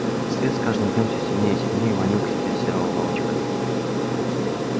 свет с каждым днём все сильнее и сильнее манил к себе серого волчка